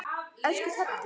Elsku Teddi.